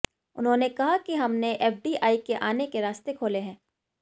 उन्होंने कहा कि हमने एफडीआई के आने के रास्ते खोले हैं